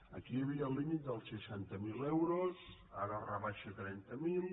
aquí hi havia el límit dels seixanta·cinc mil euros ara es rebaixa a trenta mil